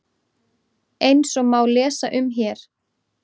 Eins og má lesa um hér